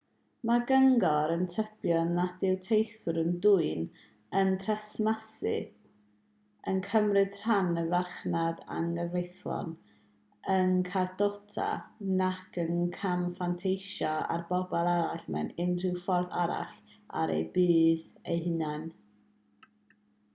mae'r cyngor yn tybio nad yw teithwyr yn dwyn yn tresmasu yn cymryd rhan yn y farchnad anghyfreithlon yn cardota nac yn camfanteisio ar bobl eraill mewn unrhyw ffordd arall er eu budd eu hunain